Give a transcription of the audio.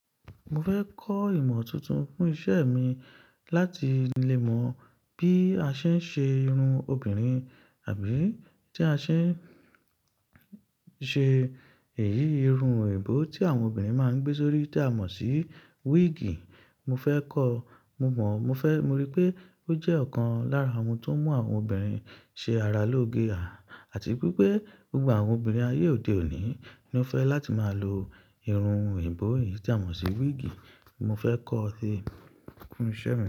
Mo fẹ́ kọ́ ìmọ̀ tuntun fún isẹ́ mi láti lè mọ bí a ṣe ń ṣe irun obìnrin àbí tí a ṣe ń ṣe èyí, irun ẹ̀bó tí àwọn obìnrin máa ń gbé sórí tí a mọ̀ sí wíìgì. Mo fẹ́ kọ́o, mo mọ̀, mo fẹ́, mo rí pé ó jẹ́ ọ̀kan lára ohun tó ń mú àwọn obìnrin ṣe ara lóge àti wípé gbogbo àwọn obìnrin ayé òde òní ni ó fẹ́ láti máa lo irun ẹ̀bó yìí tí a mọ̀ sí wíìgì. Mo fẹ́ kọ́ ọ́ sí, fún isẹ́ mi.